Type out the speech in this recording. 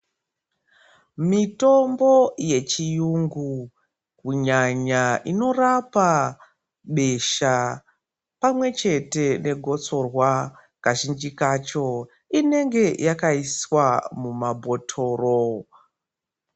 Mitombo yechiyungu, kunyanya inorapa besha pamwechete negotsorwa, kazhinji kacho inenge yakaiswa mumabhotoro.